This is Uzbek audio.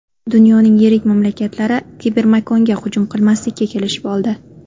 Dunyoning yirik mamlakatlari kibermakonga hujum qilmaslikka kelishib oldi.